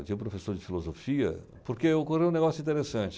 Eu tinha professor de filosofia, porque ocorreu um negócio interessante.